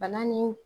Bana ni